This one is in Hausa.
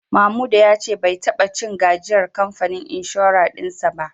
Mamuda ya ce bai taba cin gajiyar kamfanin inshorar din sa ba